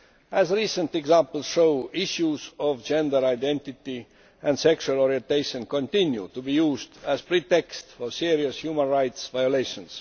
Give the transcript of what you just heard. As recent examples show, issues of gender identity and sexual orientation continue to be used as a pretext for serious human rights violations.